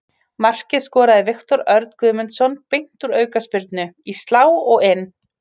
Markið skoraði Viktor Örn Guðmundsson beint úr aukaspyrnu, í slá og inn.